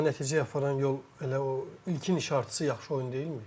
Amma nəticəyə aparan yol elə o ilkin işarətçisi yaxşı oyun deyilmi?